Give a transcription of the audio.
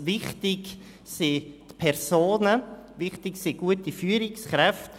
Wichtig sind die Personen, wichtig sind gute Führungskräfte.